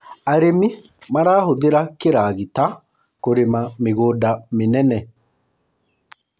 arĩmi marahuthira kĩragita kurima mĩgũnda minene